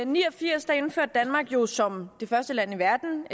ni og firs indførte danmark jo som det første land i verden